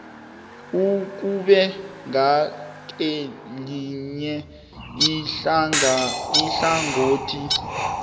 ukube ngakelinye ihlangothi